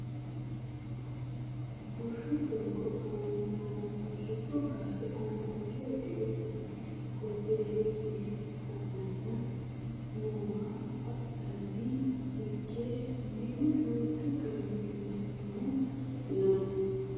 bushshu doogo aana lamu hariichu gaare aana addi addi uduunne hogonbe haa'ne ha'nanna noowa badheenni hige minu danchu garinni loonsoonnihu no